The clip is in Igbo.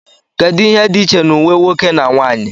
kedu ihe dị iche na uwe nwoke na nwanyị